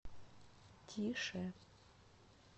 тише